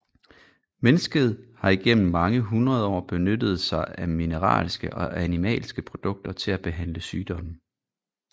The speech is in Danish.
Mennesket har igennem mange hundrede år benyttet sig af mineralske og animalske produkter til at behandle sygdomme